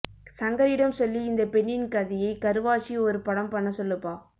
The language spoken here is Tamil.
சங்கரிடம் சொல்லி இந்த பெண்ணின் கதையை கருவா வச்சி ஒரு படம் பண்ண சொல்லுப்பா